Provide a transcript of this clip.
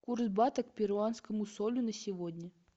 курс бата к перуанскому солю на сегодня